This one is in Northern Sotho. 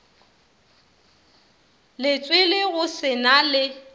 letswele go se na le